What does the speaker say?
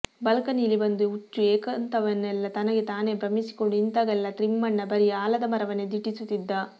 ಬಾಲ್ಕನೀಲಿ ಬಂದು ಹುಚ್ಚು ಏಕಾಂತವನೆಲ್ಲಾ ತನಗೆ ತಾನೇ ಭ್ರಮಿಸಿಕೊಂಡು ನಿಂತಾಗೆಲ್ಲಾ ತಿಮ್ಮಣ್ಣ ಬರೀ ಆಲದ ಮರವನ್ನೇ ದಿಟ್ಟಿಸುತ್ತಿದ್ದ